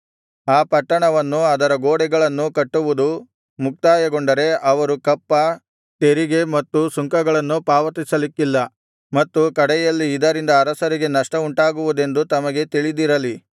ಆ ಪಟ್ಟಣವನ್ನೂ ಅದರ ಗೋಡೆಗಳನ್ನೂ ಕಟ್ಟುವುದು ಮುಕ್ತಾಯಗೊಂಡರೆ ಅವರು ಕಪ್ಪ ತೆರಿಗೆ ಮತ್ತು ಸುಂಕಗಳನ್ನು ಪಾವತಿಸಲಿಕ್ಕಿಲ್ಲ ಮತ್ತು ಕಡೆಯಲ್ಲಿ ಇದರಿಂದ ಅರಸರಿಗೆ ನಷ್ಟವುಂಟಾಗುವುದೆಂದು ತಮಗೆ ತಿಳಿದಿರಲಿ